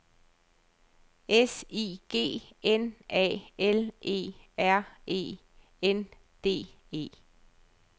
S I G N A L E R E N D E